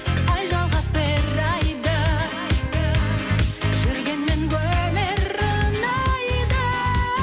ай жалғап бір айды жүргенмен өмір ұнайды